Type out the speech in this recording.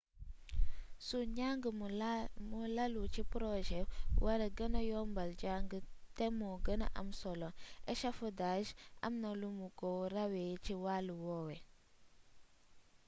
su njàng mu lalu ci projet waree gëna yombal njàng te mu gëna am solo echafodage amna lumu ko rawee ci wàll woowu